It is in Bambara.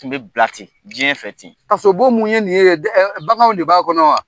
Tun bɛ bila ten, diɲɛ fɛ ten. Kaso bon mun ye nin ye baganw de b'a kɔnɔ wa?